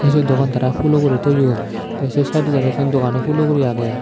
ey se dogan tara hulo guri toyon te se saidodi araw dogan hulo guri agey.